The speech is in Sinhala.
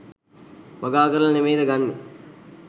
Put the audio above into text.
වගා කරලා නෙමෙයිද ගන්නේ?